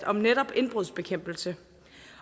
om netop indbrudsbekæmpelse